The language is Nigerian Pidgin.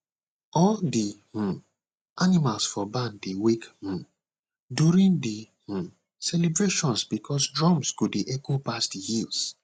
all the um animals for barn dey wake um during the um celebration because drums go dey echo pass the hills